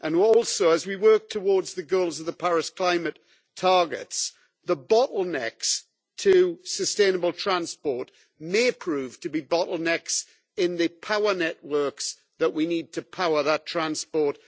Also, as we work towards the goals of the Paris climate targets, the bottlenecks to sustainable transport may prove to be bottlenecks in the power networks that we need to power that transport.